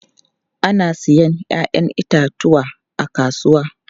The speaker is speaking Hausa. Ana sayen 'ya'yan itatuwa a kasuwa.